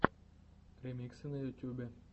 ремиксы на ютубе